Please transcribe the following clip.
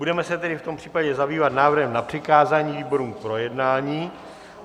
Budeme se tedy v tom případě zabývat návrhem na přikázání výborům k projednání.